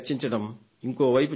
ఇంకోవైపు చూడండి